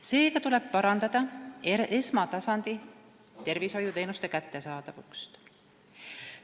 Seega tuleb parandada esmatasandi tervishoiuteenuste kättesaadavust.